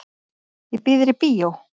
Ég býð þér í bíó.